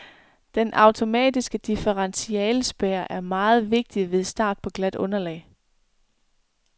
Den automatiske differentialespærre er meget vigtig ved start på glat underlag.